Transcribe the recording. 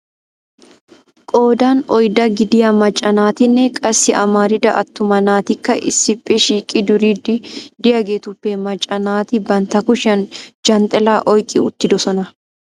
Qoodan oydda gidiyaa macca naatinne qassi amarida attuma naatikka issippe shiiqidi duriddi de'iyaagetuppe macca naati bantta kushiyaan Janxxila oyqqi uttidoosona.